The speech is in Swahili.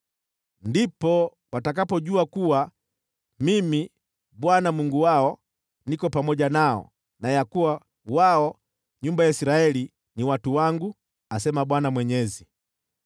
Ndipo watakapojua kuwa Mimi, Bwana , Mungu wao, niko pamoja nao, na kwamba wao, nyumba ya Israeli, ni watu wangu, asema Bwana Mwenyezi.